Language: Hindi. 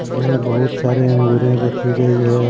जिसमें बहुत सारे अंगूरे रखी गई है।